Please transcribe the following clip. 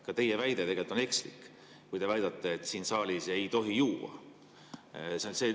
Ka teie väide on ekslik, kui te väidate, et siin saalis ei tohi juua.